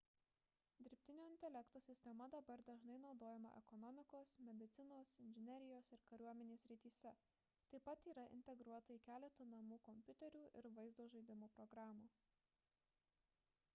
dirbtinio intelekto sistema dabar dažnai naudojama ekonomikos medicinos inžinerijos ir kariuomenės srityse taip pat yra integruota į keletą namų kompiuterių ir vaizdo žaidimų programų